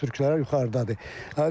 Yanan konstruksiyalar yuxarıdadır.